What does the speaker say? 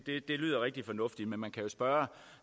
lyder rigtig fornuftigt men man kan jo spørge